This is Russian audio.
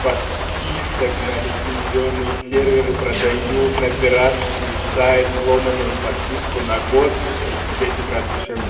подписок на лицензионный сервер и продают на пиратский сайт взломанную подписку на год в десять раз дешевле